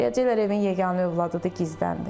Deyəcəklər evin yeganə övladıdır, gizləndi.